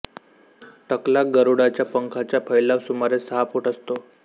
टकला गरुडाच्या पंखाचा फैलाव सुमारे सहा फुट असतो